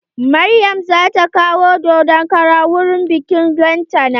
Maryam zata kawo dodon kara wurin biƙin lantana.